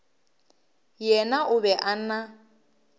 yena o be a na